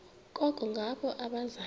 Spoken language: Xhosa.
koko ngabo abaza